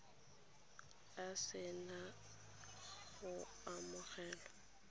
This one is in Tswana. a se na go amogelwa